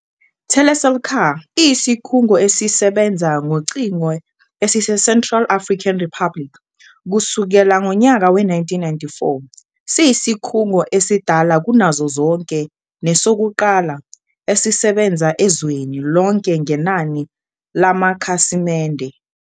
Telecel CAR iyisikhungo esisebenza ngocingo esiseCentral African Republic kusukela ngonyaka we-1994, siyisikhungo esidala kunazo zonke nesokuqala esisebenza ezweni lonke ngenani lamakhasimende.